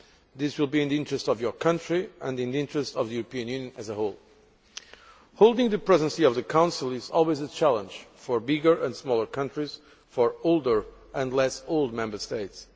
This will be in the interest of your country, and in the interest of the EU as a whole. Holding the Presidency of the Council is always a challenge, for bigger and smaller countries, for older and less old Member States.